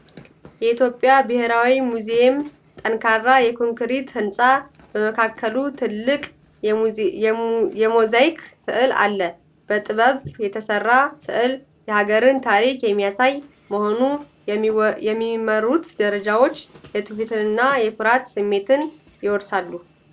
የኢትዮጵያ ብሔራዊ ሙዚየም ጠንካራ የኮንክሪት ህንፃ፣ በመካከሉ ትልቅ የሞዛይክ ሥዕል አለው። በጥበብ የተሠራው ሥዕል የሀገርን ታሪክ የሚያሳይ በመሆኑ፤ የሚመሩት ደረጃዎች የትውፊትንና የኩራት ስሜትን ይወርሳሉ።